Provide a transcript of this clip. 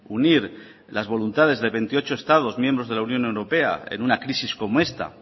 unir las voluntades de veintiocho estados miembros de la unión europea en una crisis como esta